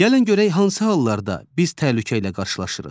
Gəlin görək hansı hallarda biz təhlükə ilə qarşılaşırıq?